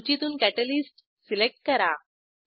सूचीतून catalyst select करा